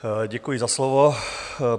Děkuji za slovo.